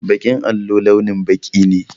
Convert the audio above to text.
Baƙin allo launin baƙi ne.